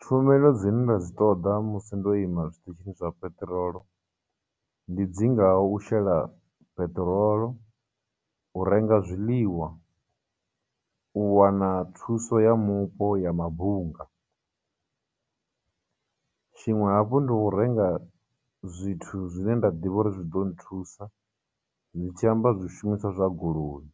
Tshumelo dzine nda dzi ṱoḓa musi ndo ima zwiṱitshini zwa peṱirolo, ndi dzi ngaho u shela peṱirolo, u renga zwiḽiwa, u wana thuso ya mupo ya mabunga, tshiṅwe hafhu ndi u renga zwithu zwine nda ḓivha uri zwi ḓo nthusa, ndi tshi amba zwishumiswa zwa goloi.